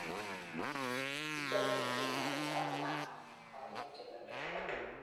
Kichome achek ng'alekab iman makimeche lembekta